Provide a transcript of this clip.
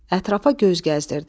Ətrafa göz gəzdirdi.